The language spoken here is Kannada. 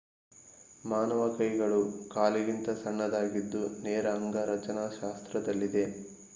ಮಾನವ ಕೈಗಳು ಕಾಲಿಗಿಂತ ಸಣ್ಣದಾಗಿದ್ದು ನೇರ ಅಂಗರಚನಾಶಾಸ್ತ್ರದಲ್ಲಿದೆ